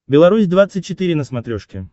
беларусь двадцать четыре на смотрешке